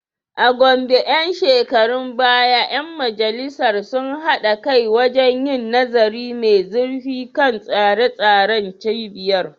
A Gombe ‘yan shekarun baya ‘yan majalisar sun haɗa kai wajen yin nazari mai zurfi kan tsare-tsaren cibiyar.